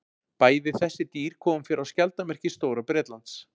Bæði þessi dýr koma fyrir á skjaldarmerki Stóra-Bretlands.